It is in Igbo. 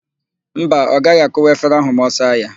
Mba, ọ gaghị akụwa efere ahụ ma ọ saa ya.